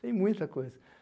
Tem muita coisa.